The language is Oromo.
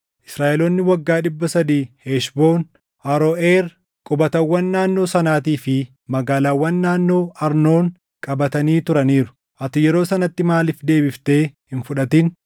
Israaʼeloonni waggaa dhibba sadii Heshboon, Aroʼeer, qubatawwan naannoo sanaatii fi magaalaawwan naannoo Arnoon qabatanii turaniiru. Ati yeroo sanatti maaliif deebiftee hin fudhatin?